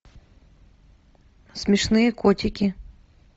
смешные котики